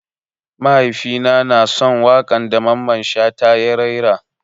Mahaifi na na son wakan da Mamman shata ya rera.